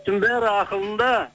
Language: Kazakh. бәрі ақылында